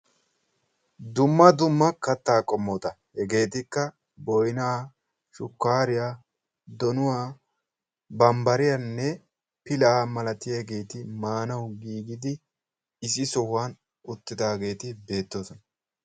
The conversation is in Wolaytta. Dumma dumma kattaa qommota. Hegeetikka: boynaa, shukkaariya, donuwa, bambbariyanne pilaa malatiyageeti maanawu giigidi issi sohuwan uttidaageeti beettoosona.